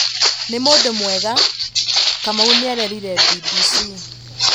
Nĩ mũndũ mwega", Kamau nĩarerire BBC